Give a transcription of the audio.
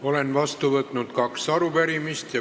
Olen vastu võtnud kaks arupärimist.